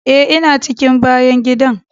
Eh, ina cikin bayan gidan.